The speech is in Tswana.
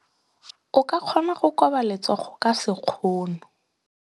O ka kgona go koba letsogo ka sekgono.